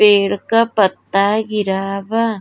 पेड़ का पत्ता गिरा बा।